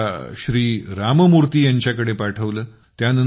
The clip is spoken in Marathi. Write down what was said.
त्यांनी मला श्री राम मूर्ति यांच्याकडे पाठवले